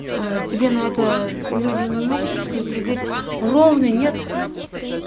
э тебе на это люди не могут играть ровно нет